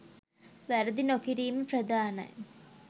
වැරදි නොකිරීම ප්‍රධානයි